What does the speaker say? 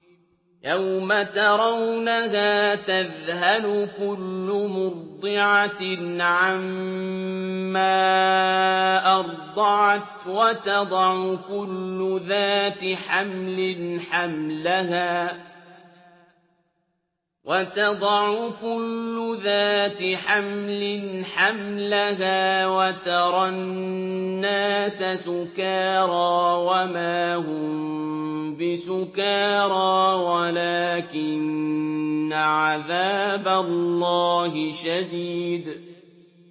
يَوْمَ تَرَوْنَهَا تَذْهَلُ كُلُّ مُرْضِعَةٍ عَمَّا أَرْضَعَتْ وَتَضَعُ كُلُّ ذَاتِ حَمْلٍ حَمْلَهَا وَتَرَى النَّاسَ سُكَارَىٰ وَمَا هُم بِسُكَارَىٰ وَلَٰكِنَّ عَذَابَ اللَّهِ شَدِيدٌ